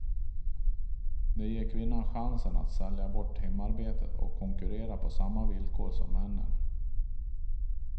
Det ger kvinnan chansen att sälja bort hemarbetet och konkurrera på samma villkor som männen.